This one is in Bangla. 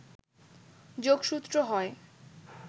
যোগসূত্র হয়